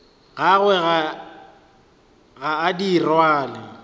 gagwe ga a di rwale